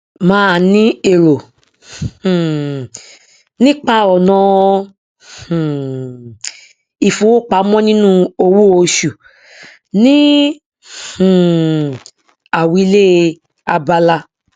màá rí èrò um nípa ọnà um ìfowópamọ nínú owóoṣù ní um àwílé abala